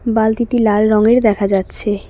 বালতিটি লাল রঙের দেখা যাচ্ছে।